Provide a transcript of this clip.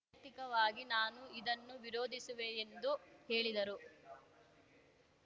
ವೈಯಕ್ತಿಕವಾಗಿ ನಾನು ಇದನ್ನು ವಿರೋಧಿಸುವೆ ಎಂದು ಹೇಳಿದರು